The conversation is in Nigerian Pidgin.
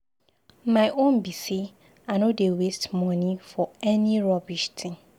My own be say I no dey waste money for any rubbish thing.